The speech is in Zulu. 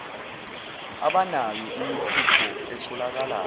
abanayo imikhukho etholakala